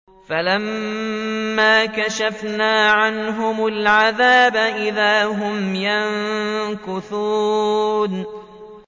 فَلَمَّا كَشَفْنَا عَنْهُمُ الْعَذَابَ إِذَا هُمْ يَنكُثُونَ